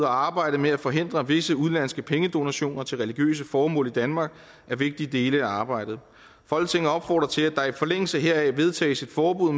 og arbejdet med at forhindre visse udenlandske pengedonationer til religiøse formål i danmark er vigtige dele af arbejdet folketinget opfordrer til at der i forlængelse heraf vedtages et forbud